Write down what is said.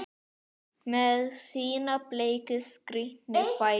Með sína bleiku, skrítnu fætur?